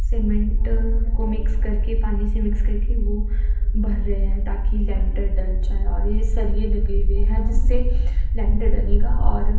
cement को mix करके पानी से मिक्स करके वो भर रहे हैं ताकि लेंटर डल जाए और ये सरिये लगे हुए हैं जिससे लेंटर डालेगा और--